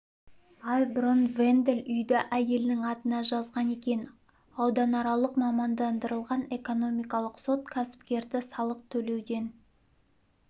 ай бұрын вендель үйді әйелінің атына жазған екен ауданаралық мамандандырылған экономикалық сот кәсіпкерді салық төлеуден